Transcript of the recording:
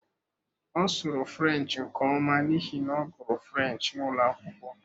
Ọ sụrụ French nke ọma n'ihi na ọ gụrụ French n'ụlọ akwụkwọ.